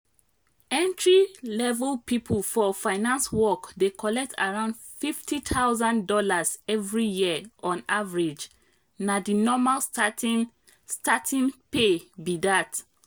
entry-level people for finance work dey collect around fifty thousand dollars every year on average—na the normal starting starting pay be that.